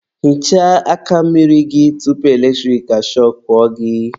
Hichaa aka mmiri gị tupu eletrik ashọkụọ gị.